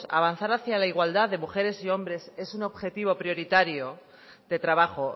avanzar hacia la igualdad de mujeres y hombres es un objetivo prioritario de trabajo